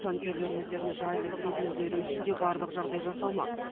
жанкүйерлер өздерін жайлы сезінулері үшін де барлық жағдай жасалмақ